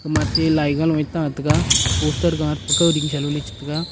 ema te lai ga loye ta tega poster gat pakao ding salo che taga.